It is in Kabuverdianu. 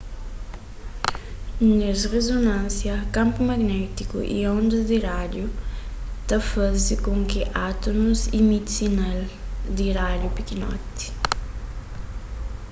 nes rizonânsia kanpu magnétiku y ondas di rádiu ta faze kon ki átumus imiti sinal di rádiu pikinoti